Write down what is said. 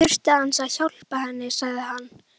Já, ég þurfti aðeins að. hjálpa henni, sagði hann.